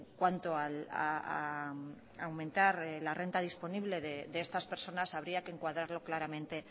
cuanto a aumentar la renta disponible de estas personas habría que encuadrarlo claramente